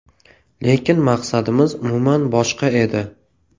Lekin maqsadimiz umuman boshqa edi.